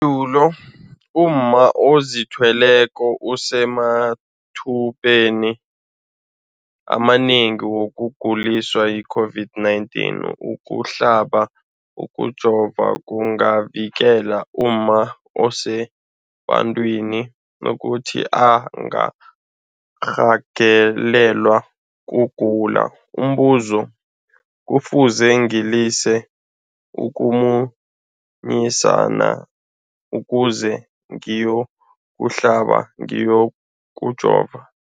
dulo, umma ozithweleko usemathubeni amanengi wokuguliswa yi-COVID-19. Ukuhlaba, ukujova kungavikela umma osebantwini ukuthi angarhagalelwa kugula. Umbuzo, kufuze ngilise ukumunyisa na ukuze ngiyokuhlaba, ngiyokujova?